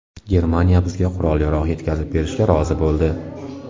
Germaniya bizga qurol-yarog‘ yetkazib berishga rozi bo‘ldi”.